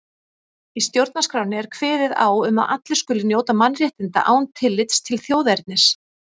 Í stjórnarskránni er kveðið á um að allir skuli njóta mannréttinda án tillits til þjóðernis.